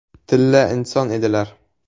Tilla inson edilar.